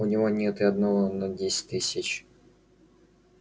у него нет и одного на десять тысяч